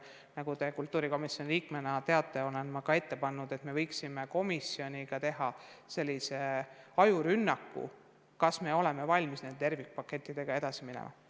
Nagu te kultuurikomisjoni liikmena teate, olen ma ka ette pannud, et me võiksime komisjoniga teha ajurünnaku teemal, kas me oleme valmis nende tervikpakettidega edasi minema.